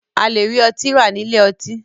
A lè rí ọtí rà nílé ọtí.